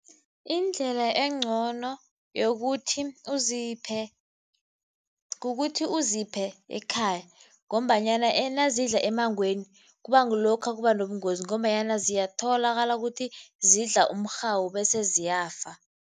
Indlela engcono yokuthi uziphe kukuthi uziphe ekhaya ngombanyana nazidla emmangweni kuba ngilokha kuba nobungozi ngombanyana ziyatholakala ukuthi zidla umrhawu bese ziyafa.